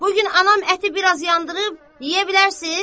bu gün anam əti biraz yandırıb, yeyə bilərsiz?